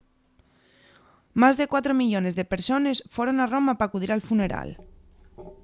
más de cuatro millones de persones foron a roma p’acudir al funeral